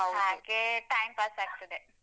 ಹಾಗೆ time pass ಆಗ್ತದೆ.